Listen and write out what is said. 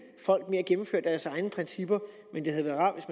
det deres egne principper men det havde været rart